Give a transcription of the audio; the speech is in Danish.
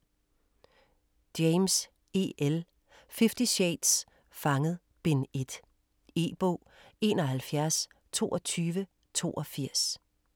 3. James, E. L.: Fifty shades: Fanget: Bind 1 E-bog 712282